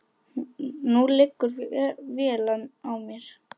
Nú liggur vél á mér